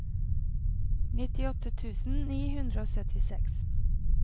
nittiåtte tusen ni hundre og syttiseks